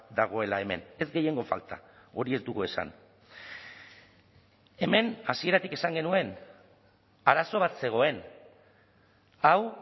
dagoela hemen ez gehiengo falta hori ez dugu esan hemen hasieratik esan genuen arazo bat zegoen hau